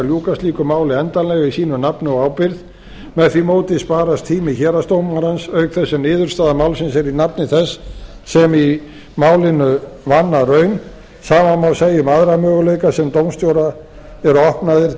ljúka slíku máli endanlega í sínu nafni og ábyrgð með því móti sparast tími héraðsdómarans auk þess sem niðurstaða málsins er í nafni þess sem í raun vann að málinu sama má segja um aðra möguleika sem dómstjóra eru opnaðir